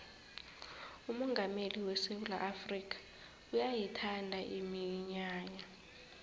umongameli wesewula afrikha uyayithanda iminyanya